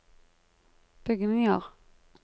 bygninger